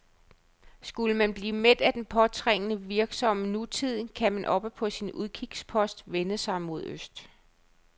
Skulle man blive mæt af den påtrængende, virksomme nutid, kan man oppe på sin udkigspost vende sig mod øst.